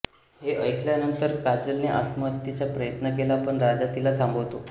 हे ऐकल्यानंतर काजलने आत्महत्येचा प्रयत्न केला पण राजा तिला थांबवतो